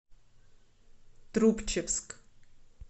трубчевск